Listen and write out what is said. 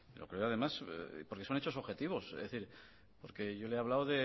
lo creo además porque son hechos objetivos es decir yo le he hablado